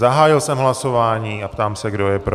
Zahájil jsem hlasování a ptám se, kdo je pro.